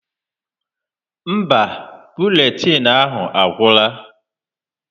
Mba, buletịịnụ ahụ agwụla.